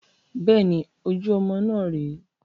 Bẹ́ẹ̀ni, ojú ọmọ náà rè é